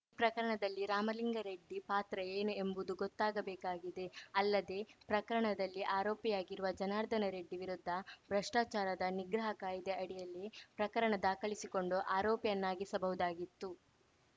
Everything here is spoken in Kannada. ಈ ಪ್ರಕರಣದಲ್ಲಿ ರಾಮಲಿಂಗಾರೆಡ್ಡಿ ಪಾತ್ರ ಏನು ಎಂಬುದು ಗೊತ್ತಾಗಬೇಕಾಗಿದೆ ಅಲ್ಲದೆ ಪ್ರಕರಣದಲ್ಲಿ ಆರೋಪಿಯಾಗಿರುವ ಜನಾರ್ದನ ರೆಡ್ಡಿ ವಿರುದ್ಧ ಭ್ರಷ್ಟಾಚಾರದ ನಿಗ್ರಹ ಕಾಯಿದೆ ಅಡಿಯಲ್ಲಿ ಪ್ರಕರಣ ದಾಖಲಿಸಿಕೊಂಡು ಆರೋಪಿಯನ್ನಾಗಿಸಬಹುದಾಗಿತ್ತು